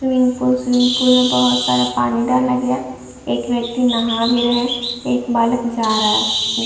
swimming pool swimming pool में बहोत सारा पानी डाला गया है एक व्यक्ति नहा भी रहे है एक बालक जा रहा है नि --